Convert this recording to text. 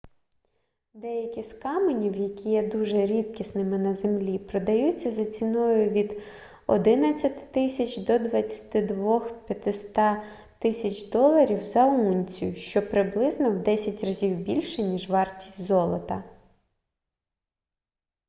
деякі з каменів які є дуже рідкісними на землі продаються за ціною від 11000 до 22500 доларів за унцію що приблизно в 10 разів більше ніж вартість золота